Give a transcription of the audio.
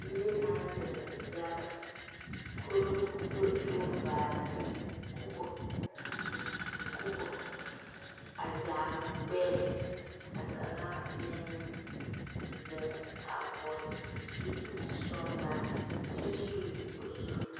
Bie na zeŋ zege kuro ko do kyɛ k'o vaara ne kubo, kubo a yaare o gbɛɛ. A kanga meŋ zeŋ a vogle zupul sɔglaa kyɛ sule o zu